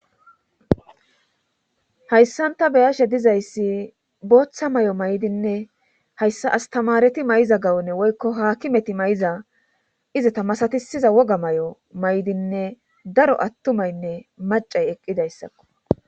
Hayssan ta be'ashe dizayssi booththa may7o may7dinne hayssa astamareti may7iza gawunne woykko haakimeti may7iza iza tamasatisiza woga may7o may7dinne daro attumaynne macay eqqidayssakko.